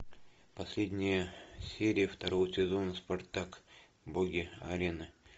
последняя серия второго сезона спартак боги арены